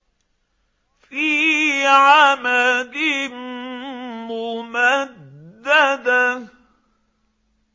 فِي عَمَدٍ مُّمَدَّدَةٍ